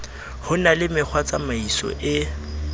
ho na le mekgwatsamaiso e